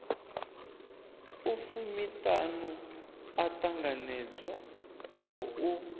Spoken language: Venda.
a fumiṱhanu o ṱanganedzwaho u